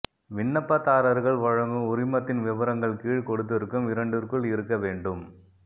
விண்ணப்பதாரர்கள் வழங்கும் உரிமத்தின் விபரங்கள் கீழ் கொடுத்திருக்கும் இரண்டிற்குள் இருக்க வேண்டும்